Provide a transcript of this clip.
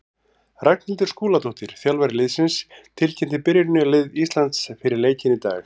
Ragnhildur Skúladóttir, þjálfari liðsins, tilkynnti byrjunarlið Íslands fyrir leikinn í dag.